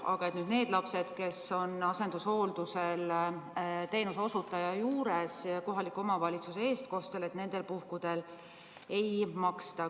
Aga nendel puhkudel, kui lapsed on asendushooldusel teenuseosutaja juures ja kohaliku omavalitsuse eestkostel, ei maksta.